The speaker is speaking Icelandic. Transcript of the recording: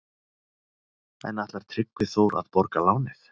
En ætlar Tryggvi Þór að borga lánið?